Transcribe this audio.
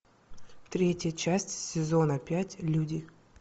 третья часть сезона пять люди